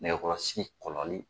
Nɛkɛkɔrɔsigi kɔlɔli